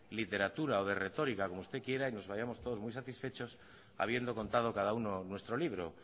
literatura o de retórica como usted quiera y nos vayamos todos muy satisfechos habiendo contado cada uno nuestro libro